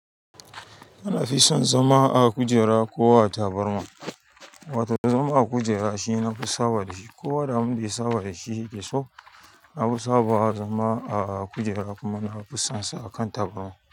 Ana fison zama a kujera ko a tabarma, wato zama a kujera shine nafi saba da shi kowa da abinda ya saba da shi, da sau nafi sawa zama a kujera kuma nafison sa a kan tabarma.